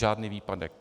Žádný výpadek.